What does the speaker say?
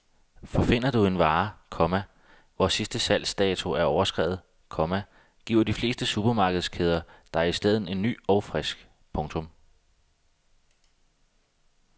For finder du en vare, komma hvor sidste salgsdato er overskredet, komma giver de fleste supermarkedskæder dig i stedet en ny og frisk. punktum